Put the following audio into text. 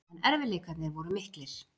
En erfiðleikarnir voru miklir.